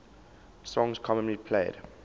songs commonly played